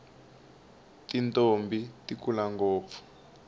tintombhi ti kula ngopfu